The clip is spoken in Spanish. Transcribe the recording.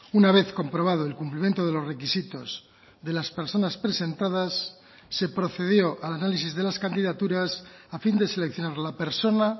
una vez comprobado el cumplimiento de los requisitos de las personas presentadas se procedió al análisis de las candidaturas a fin de seleccionar la persona